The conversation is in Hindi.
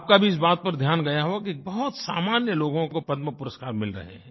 आपका भी इस बात पर ध्यान गया होगा कि बहुत सामान्य लोगों को पद्मपुरस्कार मिल रहे हैं